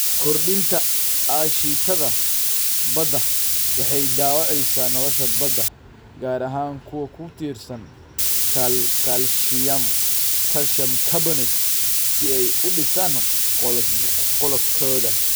Kordhinta aashitada badda waxay dhaawacaysaa nolosha badda, gaar ahaan kuwa ku tiirsan kaalshiyam carbonate si ay u dhisaan qolofkooda.